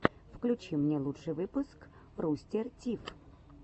включи мне лучший выпуск рустер тиф